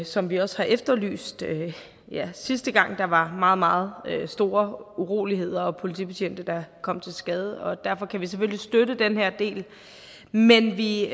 som vi også har efterlyst ja sidste gang var meget meget store uroligheder og politibetjente der kom til skade og derfor kan vi selvfølgelig støtte den her del men vi